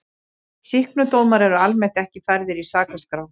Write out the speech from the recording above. Sýknudómar eru almennt ekki færðir í sakaskrá.